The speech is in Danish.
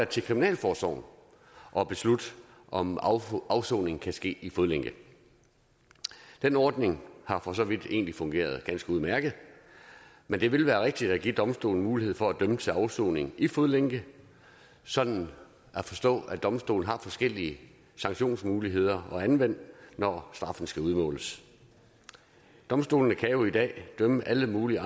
til kriminalforsorgen at beslutte om afsoning kan ske i fodlænke den ordning har for så vidt egentlig fungeret ganske udmærket men det vil være rigtigt at give domstolene mulighed for at dømme til afsoning i fodlænke sådan at forstå at domstolene har forskellige sanktionsmuligheder at anvende når straffen skal udmåles domstolene kan jo i dag idømme alle mulige